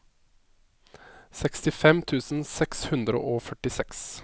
sekstifem tusen seks hundre og førtiseks